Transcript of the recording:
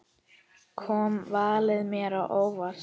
Kom valið mér á óvart?